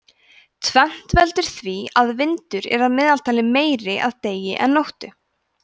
tvennt veldur því að vindur er að meðaltali meiri að degi en nóttu